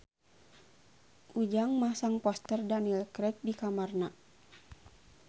Ujang masang poster Daniel Craig di kamarna